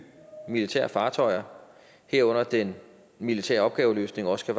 militære fartøjer herunder at den militære opgaveløsning også